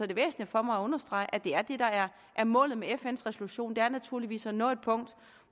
det væsentligt for mig at understrege at det er det der er målet med fns resolution det er naturligvis at nå et punkt